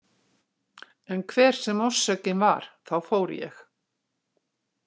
En hver sem orsökin var þá fór ég.